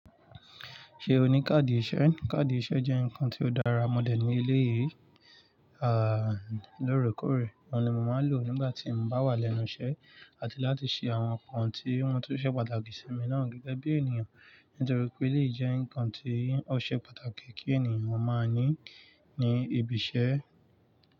Ṣé o ní káàdì iṣẹ́? Káàdì iṣẹ́ jẹ́ nǹkan ti ó dára mọ̀ dẹ̀ ní elé yìí, à lóorèkoórè. Òun ni mo máa lò nígbà tí mo bá wà lẹ́nu iṣẹ́, àti láti ṣe àwọn nǹkan tí wọ́n tun ṣe pàtàkì sí mi náà gẹ́gẹ́ bí ènìyàn. Nítorí pé elèyi jẹ́ ǹkan tó ṣe pàtàkì kí ènìyàn máa ní ní ibi iṣẹ́.